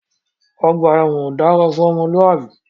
Ọgbà ẹwọn ò dára fún ọmọlúàbí.